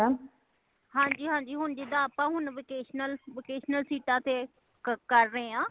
ਹਾਂਜੀ ਹਾਂਜੀ ਹੋਣ ਜਿੰਦਾ ਆਪਾ ਹੁਣ vocational ,vacational seat ਆ ਤੇ ਕਰ ਰਹੇ ਹਾਂ